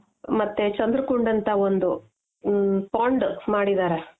ಮತ್ತೆ ಚಂದ್ರಕುಂಡ್ ಅಂತ ಒಂದು ಹ್ಮ್ಮ್pond ಮಾಡಿದರೆ